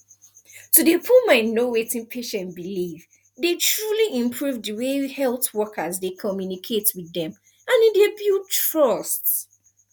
to dey put mind know wetin patient believe dey truly improve di way health wokers dey communicate with dem and e dey build trust